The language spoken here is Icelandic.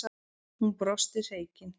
Hún brosti hreykin.